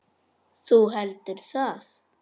Þú heldur það?